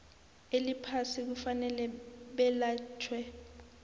eliphasi kufanele belatjhwe